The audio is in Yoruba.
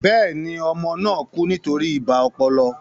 Bẹ́ẹ̀ni, ọmọ náà kú nítorí ibà ọpọlọ